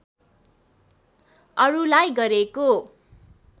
अरुलाई गरेको